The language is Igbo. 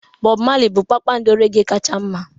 Bobu Marley bụ kpakpando reggae kacha mma